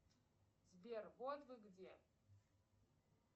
сбер вот вы где